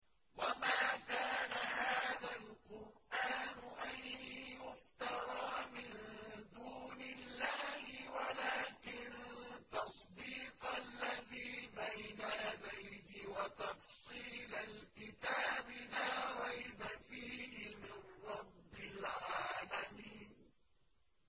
وَمَا كَانَ هَٰذَا الْقُرْآنُ أَن يُفْتَرَىٰ مِن دُونِ اللَّهِ وَلَٰكِن تَصْدِيقَ الَّذِي بَيْنَ يَدَيْهِ وَتَفْصِيلَ الْكِتَابِ لَا رَيْبَ فِيهِ مِن رَّبِّ الْعَالَمِينَ